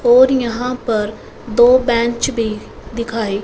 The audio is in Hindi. और यहाँ पर दो बेंच भीं दिखाई--